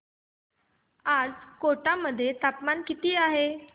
आज कोटा मध्ये तापमान किती आहे